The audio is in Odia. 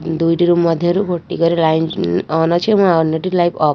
ଦୁଇଟିରୁ ମଧ୍ୟରୁ ଗୋଟିକରେ ଲାଇନ ଉଁ ଅନ ଅଛି ଏବଂ ଆଉ ଅନ୍ୟଟି ଲାଇନ ଅଫ ଅଛି .